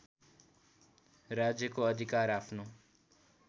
राज्यको अधिकार आफ्नो